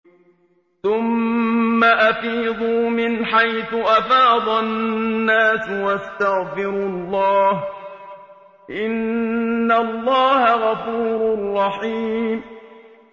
ثُمَّ أَفِيضُوا مِنْ حَيْثُ أَفَاضَ النَّاسُ وَاسْتَغْفِرُوا اللَّهَ ۚ إِنَّ اللَّهَ غَفُورٌ رَّحِيمٌ